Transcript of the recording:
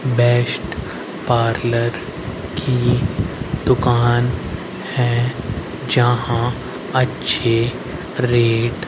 best parlour की दुकान है जहां अच्छे रेट --